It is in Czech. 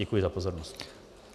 Děkuji za pozornost.